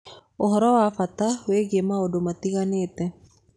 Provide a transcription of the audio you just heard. Ũhoro wa bata wĩgiĩ maũndũ matiganĩte.